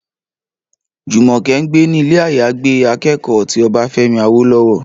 Jùmọ̀kẹ́ ń gbé ní ilé-àyágbé akẹ́kọ̀ọ́ ti Ọbáfẹ́mi Awólọ́wọ̀